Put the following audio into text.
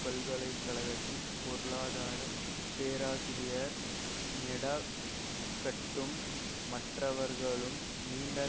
பல்கலைகழகத்தின் பொருளாதார பேராசிரியர் மெடா கட்டும் மற்றவர்களும் நீண்ட